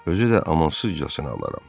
"Özü də amansızcasına alaram."